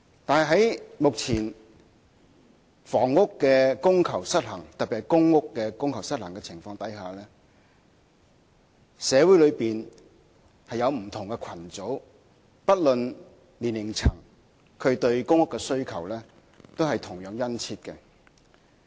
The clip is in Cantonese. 但是，目前房屋供求失衡，特別是在公共租住房屋供求失衡的情況下，社會內不同的群組，不論屬何年齡層，對公屋的需求同樣殷切。